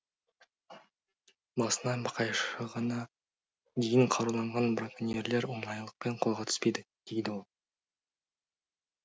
басынан бақайшығана дейін қаруланған браконьерлер оңайлықпен қолға түспейді дейді ол